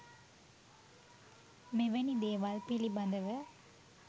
මෙවැනි දේවල් පිළිබඳව